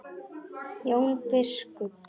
Jón biskup!